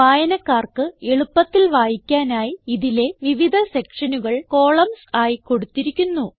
വായനക്കാർക്ക് എളുപ്പത്തിൽ വായിക്കാനായി ഇതിലെ വിവിധ സെക്ഷനുകൾ കോളംൻസ് ആയി കൊടുത്തിരിക്കുന്നു